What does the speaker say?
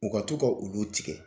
U ka to ka ulu tigɛ.